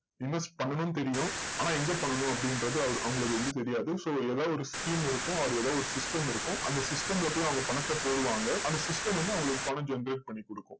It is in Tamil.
invest பண்ணணும்னு தெரியும். ஆனா எங்க பண்ணணும் அப்படின்றது அவரு~அவங்களுக்கு வந்து தெரியாது தாவது ஒரு scheme இருக்கும். அது தாவது ஒரு system இருக்கும். அந்த system ல போய் அவங்க பணத்தை போடுவாங்க. அந்த system வந்து அவங்களுக்கு பணம் generate பண்ணி கொடுக்கும்.